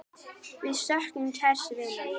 Við söknum kærs vinar.